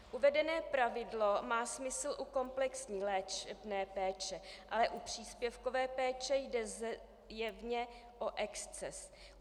Uvedené pravidlo má smysl u komplexní léčebné péče, ale u příspěvkové péče jde zjevně o exces.